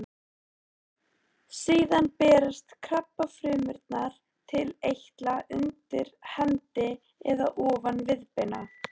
Síðan berast krabbafrumurnar til eitla undir hendi eða ofan viðbeina.